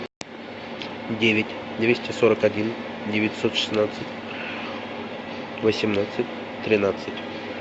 девять двести сорок один девятьсот шестнадцать восемнадцать тринадцать